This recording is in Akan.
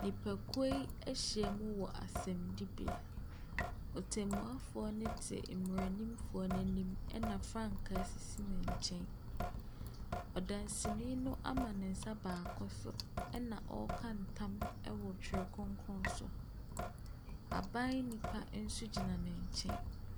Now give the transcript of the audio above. Nipakuo yi ahyia mu wɔ asɛnnibea. Otemmuafoɔ no te mmaranimfoɔ no anim, ɛna frankaa sisi ne nkyɛn. Ɔdanseni no ama ne nsa baako so ɛna ɔreka ntam wɔ Twerɛ Kronkron so. Aban nipa nso gyina ne nkyɛn.